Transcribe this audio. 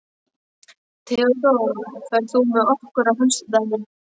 Theódór, ferð þú með okkur á föstudaginn?